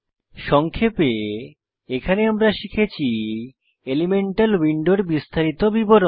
সংক্ষেপে এখানে আমরা শিখেছি এলিমেন্টাল উইন্ডোর বিস্তারিত বিবরণ